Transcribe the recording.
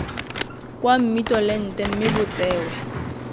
kwa mmitolente mme bo tsewe